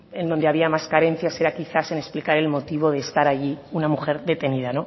en donde había más carencias era quizás en explicar el motivo de estar allí una mujer detenida